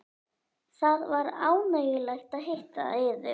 Það var ánægjulegt að hitta yður.